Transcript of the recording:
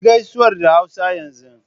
Kayi gaisuwar da Hausa yanzu